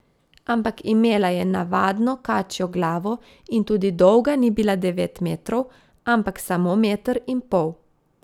Ampak imela je navadno kačjo glavo in tudi dolga ni bila devet metrov, ampak samo meter in pol.